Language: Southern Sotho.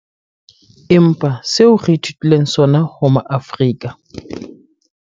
Empa seo re ithutileng sona ho Maafrika